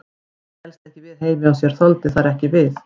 Hann hélst ekki við heima hjá sér, þoldi ekki þar við.